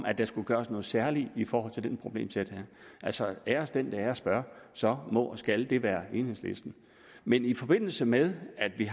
at der skulle gøres noget særligt i forhold til det her problemsæt altså æres den der æres bør og så må og skal det være enhedslisten men i forbindelse med at vi